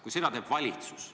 Kui seda teeb valitsus.